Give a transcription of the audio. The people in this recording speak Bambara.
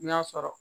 N y'a sɔrɔ